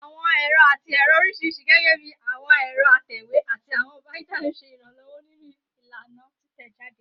Awọn ẹrọ ati ẹrọ oriṣiriṣi, gẹgẹbi awọn ẹrọ atẹwe ati awọn binders, ṣe iranlọwọ ninu ilana titẹjade